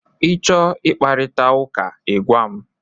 Ị chọọ ị kparịta ụka, ị gwa m!